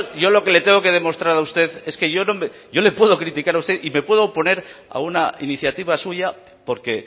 yo lo que le tengo que demostrar a usted es que yo le puedo criticar a usted y me puedo oponer a una iniciativa suya porque